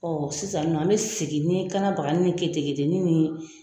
sisan nin nɔ , an bɛ segin ni kanna bagani ni keteketeni ni